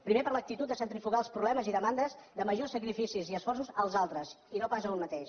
primer per l’actitud de centrifugar els problemes i demandes de majors sacrificis i esforços als altres i no pas a un mateix